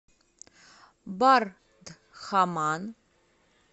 бардхаман